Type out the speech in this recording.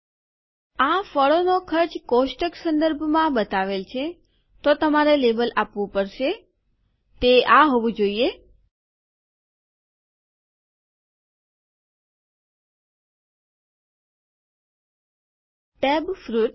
આ ફળોનો ખર્ચ કોષ્ટક સંદર્ભમાં બતાવેલ છે તો તમારે લેબલ આપવું પડશે તે આ જ હોવું જોઈએ ટેબ ફ્રૂટ્સ